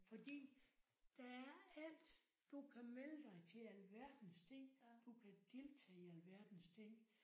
Fordi der er alt du kan melde dig til alverdens ting du kan deltage i alverdens ting